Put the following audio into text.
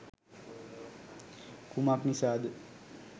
කුමක් නිසාද?